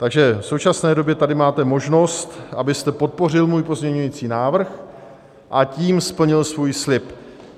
Takže v současné době tady máte možnost, abyste podpořil můj pozměňovací návrh, a tím splnil svůj slib.